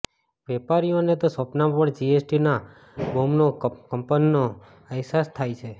વેપારીઓને તો સ્વપ્નામાં પણ જીએસટી બોંબના કંપનોનો અહેસાસ થાય છે